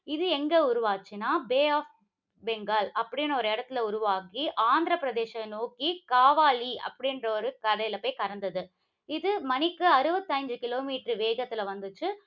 இது எங்க உருவாச்சினா பே ஆஃப் பெங்கால் அப்படின்னு ஒரு இடத்தில உருவாகி, ஆந்திர பிரதேசத்தை நோக்கி காவாலி அப்படிங்குற ஒரு கரைல போய் கடந்தது. இது மணிக்கு அறுபத்தி ஐந்து kilometer வேகத்துல வந்துச்சு